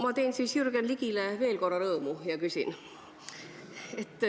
Ma teen siis Jürgen Ligile veel korra rõõmu ja küsin.